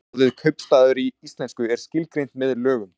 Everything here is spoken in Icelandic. Orðið kaupstaður í íslensku er skilgreint með lögum.